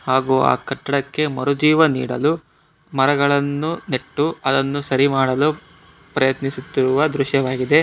ಹಾಗೂ ಆ ಕಟ್ಟಡಕ್ಕೆ ಮರುಜೀವ ನೀಡಲು ಮರಗಳನ್ನು ನೆಟ್ಟು ಅದನ್ನು ಸರಿ ಮಾಡಲು ಪ್ರಯತ್ನಿಸುತ್ತಿರುವ ದೃಶ್ಯವಾಗಿದೆ.